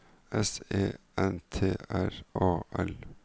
S E N T R A L